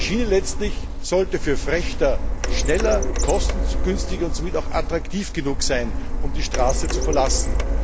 Die Schiene letztlich sollte für Frächter schneller, kostengünstiger und somit auch attraktiv genug sein, damit sie die Straße verlassen.